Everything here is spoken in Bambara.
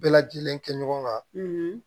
Bɛɛ lajɛlen kɛ ɲɔgɔn kan